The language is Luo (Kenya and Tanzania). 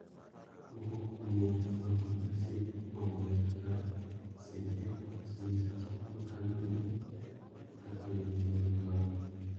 Moko kuom ute fwambo e Mexico kuomgi Kaka Sin Embargo osenyiso chal makamano kaka lwenje mag ohala.